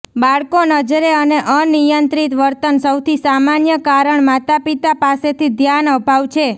બાળકો નજરે અને અનિયંત્રિત વર્તન સૌથી સામાન્ય કારણ માતાપિતા પાસેથી ધ્યાન અભાવ છે